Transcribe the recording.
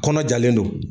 Kɔnɔ jalen don